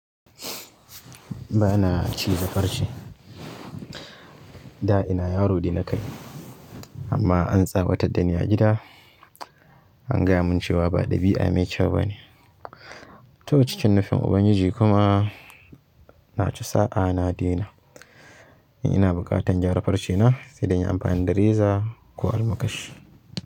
Ba na ci za farce. Da ina yaro dai na kanyi amma an tsawatar da ni a gida an gaya mun cewa ba ɗabi'a mai kyau bane. To cikin nufin ubangiji kuma na ci sa'a na dena. Ina buƙata gyara farcena sai dai inyi amfani da reza ko almakashi.